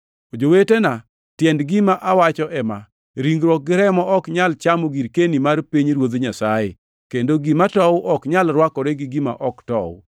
Jowetena, tiend gima awacho ema: Ringruok gi remo ok nyal chamo girkeni mar pinyruodh Nyasaye kendo gima tow ok nyal rwakore gi gima ok tow.